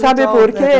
Sabe por quê?